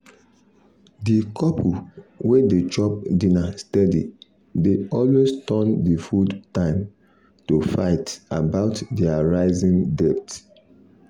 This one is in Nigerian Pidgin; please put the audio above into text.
the couple wey dey chop dinner steady dey always turn the food time to fight about their rising debt.